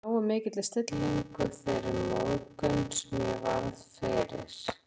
Lárus, að taka með nógu mikilli stillingu þeirri móðgun, sem ég varð fyrir